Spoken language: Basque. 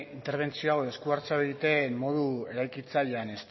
interbentzio hau esku hartzea modu eraikitzailean